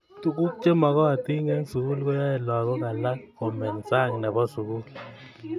tukuk chemakatin eng sukul koyae lakok alak komeny Sang nepo sukul